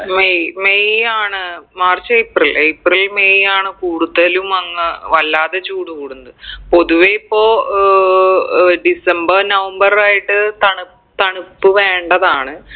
May May ആണ് March April April May ആണ് കൂടുതലും അങ് വല്ലാതെ ചൂട് കൂടുന്നത് പൊതുവെ ഇപ്പൊ ഏർ ഏർ ഡിസംബർ നവംബർ ആയിട്ട് തണു തണുപ്പ് വേണ്ടതാണ്